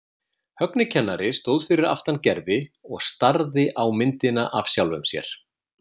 Högni kennari stóð fyrir aftan Gerði og starði á myndina af sjálfum sér.